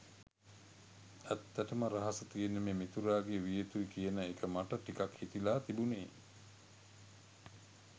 ඇත්තටම රහස තියෙන්නේ මේ මිතුරාගේ විය යුතුයි කියන එක මට ටිකක් හිතිලා තිබුනේ